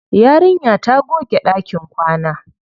Yarinya ta goge ɗakin kwana.